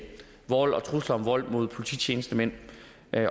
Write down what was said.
vold og trusler om vold mod polititjenestemænd